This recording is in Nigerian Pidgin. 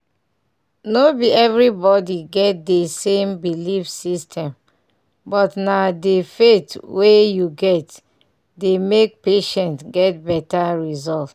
no be everybody get dey same belief system but na dey faith wey you get dey make patients get better result.